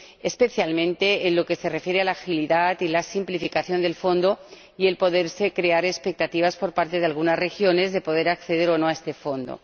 especialmente en lo que se refiere a la agilidad y a la simplificación del Fondo y en cuanto a las posibles expectativas por parte de algunas regiones sobre el acceso o no a este Fondo.